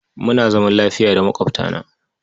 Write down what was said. Muna zaman lafiya da maƙwabtana.